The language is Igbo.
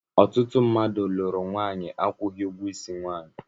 Ọtụtụ mmadụ lụrụ nwanyi akwughi ụgwọ isi nwanyị.